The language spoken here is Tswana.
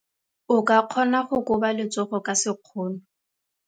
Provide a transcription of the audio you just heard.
O ka kgona go koba letsogo ka sekgono.